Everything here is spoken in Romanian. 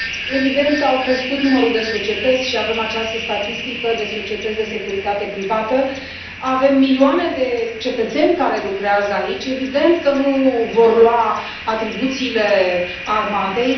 Evident, a crescut numărul de societăți și avem această statistică de societăți de securitate privată, avem milioane de cetățeni care lucrează aici, evident că nu vor lua atribuțiile armatei.